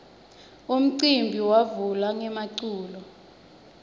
umcimbi wavula ngemaculo